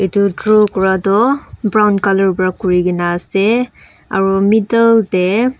etu draw Kora tu brown colour para kuri ke na ase aru middle teh--